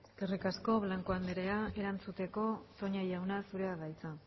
eskerrik asko blanco andrea erantzuteko toña jaunazurea da hitza